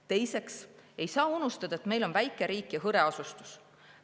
Teiseks, ei saa unustada, et meil on väike riik ja hõre asustus.